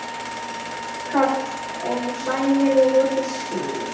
Karl: Og sæmilegur fiskur?